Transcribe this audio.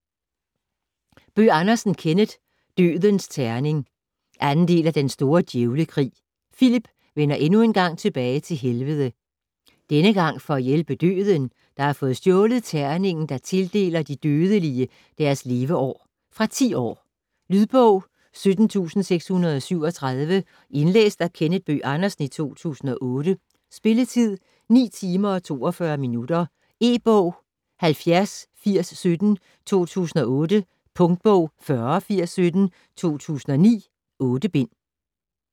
Bøgh Andersen, Kenneth: Dødens terning 2. del af Den store djævlekrig. Filip vender endnu en gang tilbage til Helvede. Denne gang for at hjælpe Døden, der har fået stjålet terningen der tildeler de dødelige deres leveår. Fra 10 år. Lydbog 17637 Indlæst af Kenneth Bøgh Andersen, 2008. Spilletid: 9 timer, 42 minutter. E-bog 708017 2008. Punktbog 408017 2009. 8 bind.